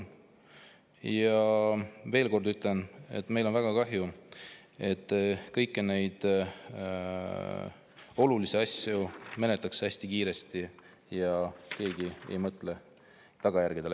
Ma ütlen veel kord, et meil on väga kahju, et kõiki neid olulisi asju menetletakse hästi kiiresti ja keegi ei mõtle tagajärgedele.